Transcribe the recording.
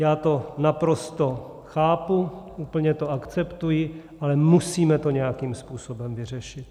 Já to naprosto chápu, úplně to akceptuji, ale musíme to nějakým způsobem vyřešit.